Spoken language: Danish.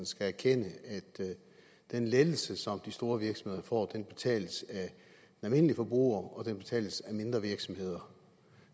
skal erkende at den lettelse som de store virksomheder får betales af almindelige forbrugere og den betales af mindre virksomheder